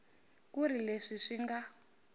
ku ri leswi swi nga